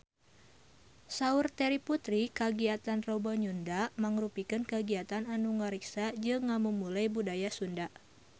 Saur Terry Putri kagiatan Rebo Nyunda mangrupikeun kagiatan anu ngariksa jeung ngamumule budaya Sunda